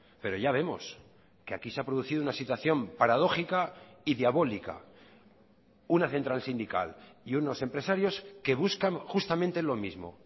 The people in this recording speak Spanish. pero ya vemos que aquí se ha producido una situación paradójica y diabólica una central sindical y unos empresarios que buscan justamente lo mismo